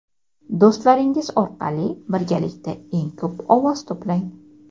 do‘stlaringiz orqali birgalikda eng ko‘p ovoz to‘plang.